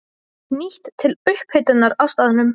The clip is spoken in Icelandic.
Nýtt til upphitunar á staðnum.